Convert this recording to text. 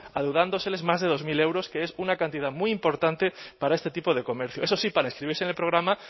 adeudándoles más de dos mil euros que es una cantidad muy importante para este tipo de comercio eso sí para inscribirse en el programa